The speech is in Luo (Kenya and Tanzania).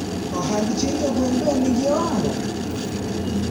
ohand chinjo gwen be nigi ohala?